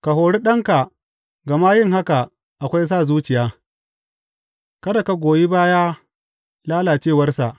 Ka hori ɗanka, gama yin haka akwai sa zuciya; kada ka goyi baya lalacewarsa.